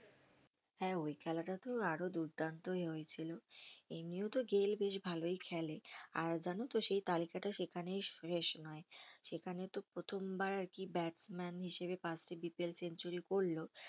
হ্যাঁ ওই খেলাটা তো আরো দুর্দান্তই হয়েছিল, এমনিও তো গেইল বেশ ভালই খেলে, আর জানতো সেই তালিকাটা সেখানেই শেষ নয় সেখানে তো প্রথম বার কি batsman হিসেবে first এ BPL সেঞ্চুরি করলো